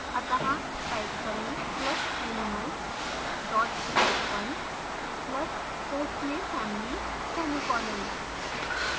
अत: type करें + animal type1 + quotes में family semicolon